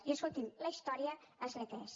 i escolti’m la història és la que és